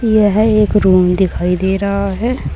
यह एक रूम दिखाई दे रहा है।